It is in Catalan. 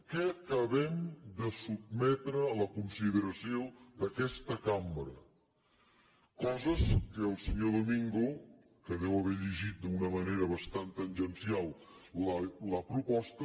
què acabem de sotmetre a la consideració d’aquesta cambra coses que el senyor domingo que deu haver llegit d’una manera bastant tangencial la proposta